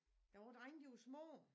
Da vore drenge de var små